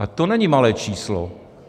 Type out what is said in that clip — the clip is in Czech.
A to není malé číslo.